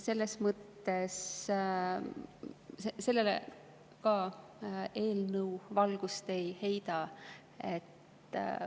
Sellele see eelnõu valgust ei heida.